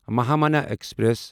Mahamana express